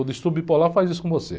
O distúrbio bipolar faz isso com você.